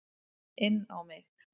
Inn á mig.